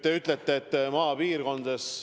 Te räägite maapiirkondadest.